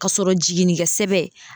Ka sɔrɔ jiginnikɛ sɛbɛn